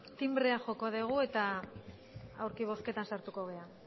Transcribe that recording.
tinbrea joko degu eta aurki bozketan sartuko gera